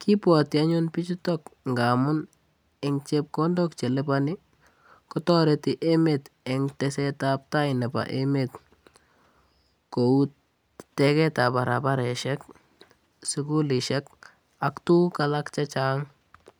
Kibwoti anyun pichutok ngamun eng chepkondok che liponi, kotoreti emet eng tesetabtai nebo emet kou teketab barabaresiek, sukulisiek ak tuguk alak che chang.